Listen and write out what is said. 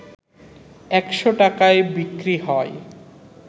১০০ টাকায় বিক্রি হয়